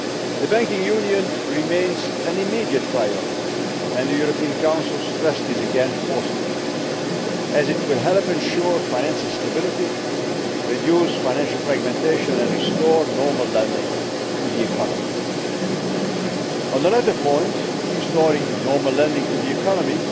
The Banking Union remains an immediate priority and the European Council stressed this again forcefully as it will help ensure financial stability, reduce financial fragmentation and restore normal lending to the economy. On the latter point restoring normal lending to the economy